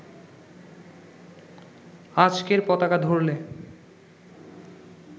আজকের পতাকা ধরলে